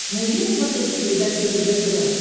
найди на смотрешке передачу ржд тв